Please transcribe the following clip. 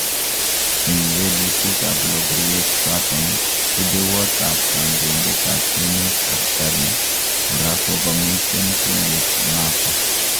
Eng welutik ap logowek chaton, rupewot ap kandoitet ap emet Ascaris kora kokomiten tuyet nato